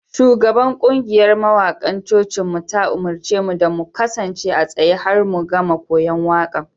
Shugaban kungiyar mawakan cocinmu ta umarce mu da mu kasance a tsaye har mu gama koyon waƙan.